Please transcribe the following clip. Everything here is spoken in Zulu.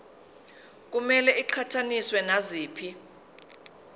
kumele iqhathaniswe naziphi